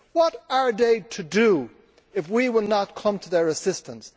What are they to do if we will not come to their assistance?